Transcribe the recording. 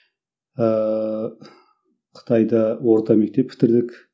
ыыы қытайда орта мектеп бітірдік